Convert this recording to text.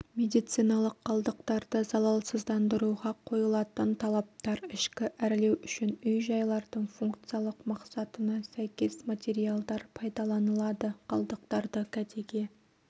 медициналық қалдықтарды залалсыздандыруға қойылатын талаптар ішкі әрлеу үшін үй-жайлардың функциялық мақсатына сәйкес материалдар пайдаланылады қалдықтарды кәдеге